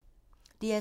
DR P2